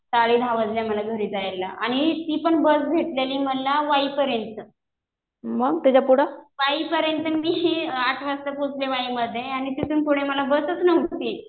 साडे दहा वाजले मला घरी जायला. आणि ती पण बस भेटलेली मला वाईपर्यंत. वाईपर्यंत आठ वाजता पोचले वाईमध्ये. आणि तिथून पुढे मला बसच नव्हती.